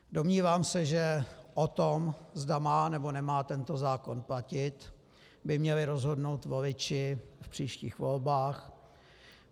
Domnívám se, že o tom, zda má, nebo nemá tento zákon platit, by měli rozhodnout voliči v příštích volbách.